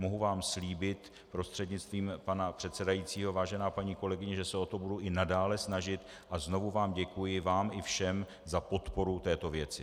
Mohu vám slíbit prostřednictvím pana předsedajícího, vážená paní kolegyně, že se o to budu i nadále snažit, a znovu vám děkuji - vám i všem - za podporu této věci.